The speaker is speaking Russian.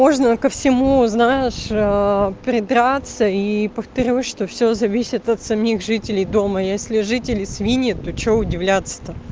можно ко всему знаешь придраться и повторюсь что всё зависит от самих жителей дома если жители свиньи то что удивляться то